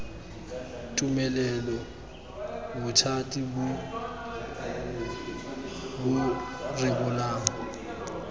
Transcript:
tumelelo bothati bo bo rebolang